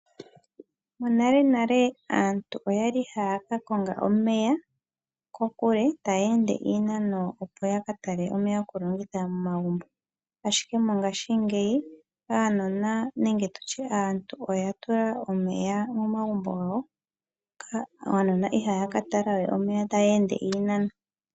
Monalenale aantu oyali haya kakonga omeya kokule ta ya ende oshinano oshile opo ya katale omeya go kulongitha momagumbo. Mongashingeya aantu oya tula omeya momagumbo gawa. uunona ihawu katala we omeya tawu ende oshi nano oshile.